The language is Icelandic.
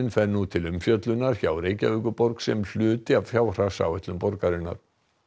fer nú til umfjöllunar hjá Reykjavíkurborg sem hluti af fjárhagsáætlun borgarinnar